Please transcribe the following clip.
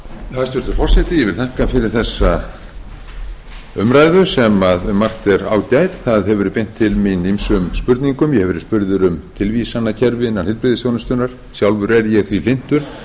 hæstvirtur forseti ég vil þakka fyrir þessa umræðu sem um margt er ágæt það hefur verið beint til mín ýmsum spurningum ég hef verið spurður um tilvísanakerfi innan heilbrigðisþjónustunnar sjálfur er ég því hlynntur